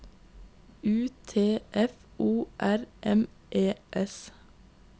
U T F O R M E S